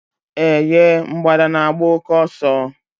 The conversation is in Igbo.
Eh ye! Mgbada na agba òké ọsọ